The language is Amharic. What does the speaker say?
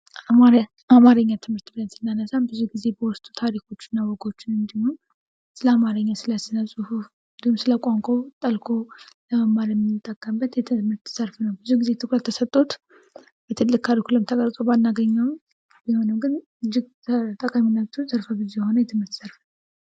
አማርኛ ትምህር ስናነሳ በጣም ብዙ በውስጡ ታሪኮችና ወጎችን ስለ አማርኛ ስለ ጽሁፍ እንዲሁም ደግሞ ስለ ቋንቋ ጠልቆ ለመማርፅ የምንጠቀምበት ብዙ ጊዜ ትኩረት ተሰጦት ትልቅ ካሊኩለም ተሰጦት ባናገኘውም ጠቃሚ የትምህርት ዘፍኖ ዘርፈብዙ የሆነ የትምህርት ዘርፍ ነው።